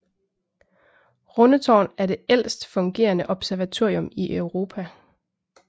Rundetårn er det ældst fungerende observatorium i Europa